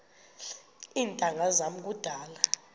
iintanga zam kudala